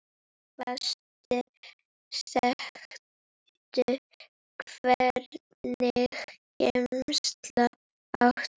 Eitthvað sterkt Hvernig gemsa áttu?